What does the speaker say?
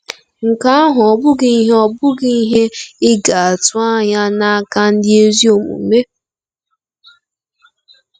Nke ahụ ọ́ bụghị ihe ọ́ bụghị ihe ị ga-atụ anya n'aka ndị ezi omume?